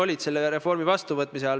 Lugupeetud minister!